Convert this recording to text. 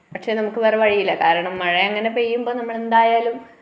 പക്ഷെ നമുക്ക് വേറെ വഴിയില്ല കാരണം മഴ അങ്ങനെ പെയ്യുമ്പം നമ്മൾ എന്തായാലും